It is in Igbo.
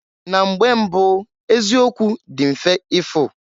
Na mgbe mbụụ eziokwu dị mfe ifu.